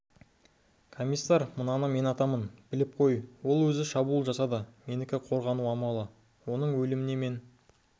комиссар мынаны мен атамын біліп қой ол өзі шабуыл жасады менікі қорғану амалы оның өліміне мен